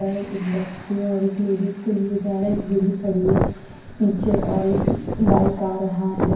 पर एक बच्चे और एक लेडीज को दिए जारा एक बुडी खड़ी है पीछे ओर एक बाइक आ रहा है।